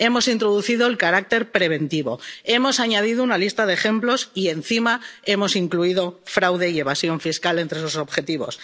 Tratado. Hemos introducido el carácter preventivo, hemos añadido una lista de ejemplos y encima hemos incluido el fraude y la evasión fiscal entre los objetivos.